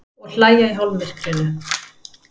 Og hlæja í hálfmyrkrinu.